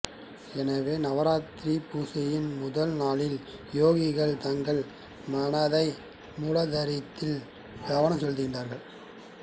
எனவே நவராத்திரி பூசையில் முதல் நாள் யோகிகள் தங்கள் மனதை முலாதாரத்தில் கவனம் செலுத்துகிறார்கள்